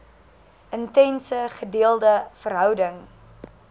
intense gedeelde verhouding